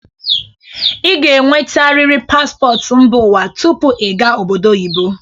ị ga-enwetarịrị paspọtụ mba ụwa tupu ị gawa obodo oyibo.